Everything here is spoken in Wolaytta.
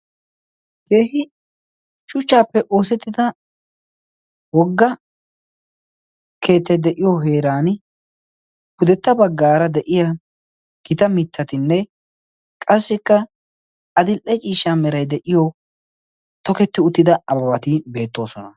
keehi shuchchaappe oosetida wogga keettay de'iyo heeran, pudetta bagaara de'iya gita mitatinne tokketi uttida ababati de'oosoana.